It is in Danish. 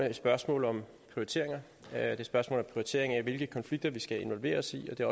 et spørgsmål om prioritering det er et spørgsmål om prioritering af hvilke konflikter vi skal involvere os i og det